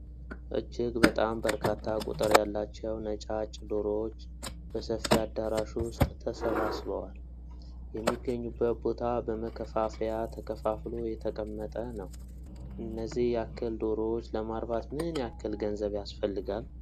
እጅግ በጣም በርካታ ቁጥር ያላቸው ነጫጭ ዶሮዎች በሰፊ አዳራሽ ዉስጥ ተሰባስበዋል። የሚገኙበት ቦታ በመከፋፈያ ተከፋፍሎ የተቀመጠ ነው። እነዚህን ያክል ዶሮዎች ለማርባት ምን ያክል ገንዘብ ያስፈልጋል?